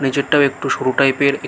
নিচেরতাও একটু সরু টাইপ -এর এ--